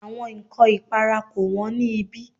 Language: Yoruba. Àwọn ǹkọ ìpara kò wón ní ibí.